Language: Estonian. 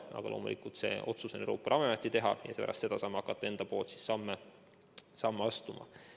Aga loomulikult see otsus on Euroopa Ravimiameti teha, pärast seda saame hakata enda samme astuma.